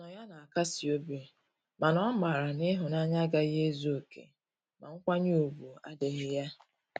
Ọnụnọ ya na akasi obi ,mana o mara na ihunanya agahi ezu oke ma nkwanye ugwu adighi ya.